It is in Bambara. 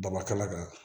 Baba kala kan